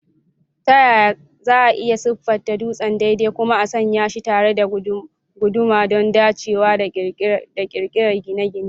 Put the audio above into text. Ta yaya za a iya siffata dutsen daidai kuma a sanya shi tare da guduma don dacewa da ƙirar gine-gine?